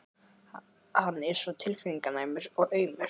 Hann er svo tilfinninganæmur og aumur.